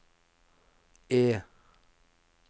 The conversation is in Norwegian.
E